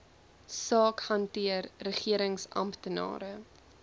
saak hanteer regeringsamptenare